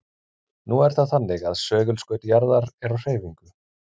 Nú er það þannig að segulskaut jarðar er á hreyfingu.